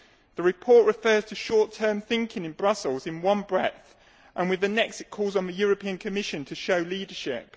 The report refers to short term thinking in Brussels in one breath and with the next it calls on the Commission to show leadership.